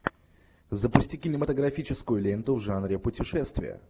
запусти кинематографическую ленту в жанре путешествия